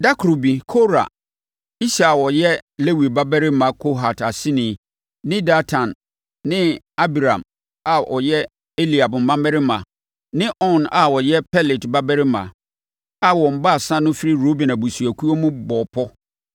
Ɛda koro bi Kora, Ishar a ɔyɛ Lewi babarima Kohat aseni ne Datan ne Abiram a wɔyɛ Eliab mmammarima ne On a ɔyɛ Pelet babarima a wɔn baasa no firi Ruben abusuakuo mu bɔɔ pɔ